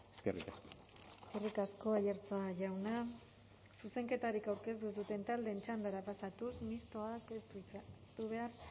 eskerrik asko eskerrik asko aiartza jauna zuzenketarik aurkeztu ez duten taldeen txandara pasatuz mistoak ez du hitza hartu behar